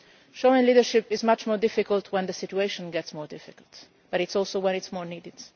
Showing leadership is much more difficult when the situation gets more difficult, but this is also when it is most needed.